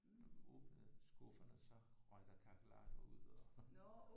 Når man åbnede skufferne så røg der kakerlakker ud og